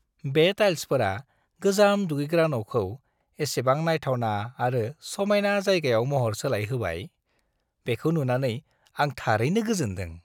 बे टाइल्सफोरा गोजाम दुगैग्रा न'खौ एसेबां नायथावना आरो समायना जायगायाव महर सोलायहोबाय, बेखौ नुनानै आं थारैनो गोजोनदों।